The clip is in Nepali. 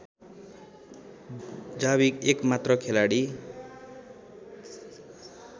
जावी एकमात्र खेलाडी